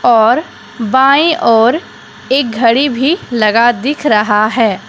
और बाईं ओर एक घड़ी भी लगा दिख रहा है।